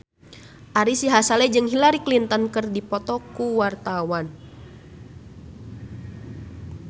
Ari Sihasale jeung Hillary Clinton keur dipoto ku wartawan